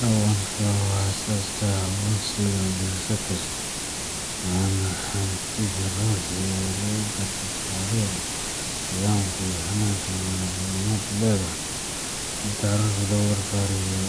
Dhaqanka waa aasaaska aqoonsiga bulsho kasta, waana hantida ruuxiga ah ee lagu garto taariikhda, qiyamka, iyo hannaanka nololeed ee ummaddu leedahay. Marka carruurta lagu barbaariyo